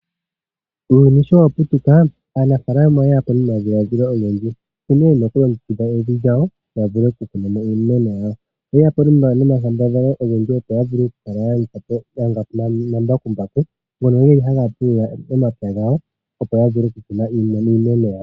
Uuyuni sho waputuka, aanafaalama oyeya po nomadhiladhilo ogendji nkene wuna okulongekidha evi lyawo yavule okukunamo iimeno yawo. Oyeya po nomakambadhalo ogendji opo yavule okukala yalanda po omambakumbaku ngono geli haga pulula momapya gawo opo yavule okukuna iimeno yawo.